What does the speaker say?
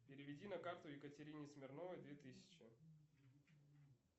переведи на карту екатерине смирновой две тысячи